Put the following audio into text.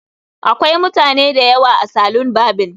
Akwai mutane da yawa a salon barbing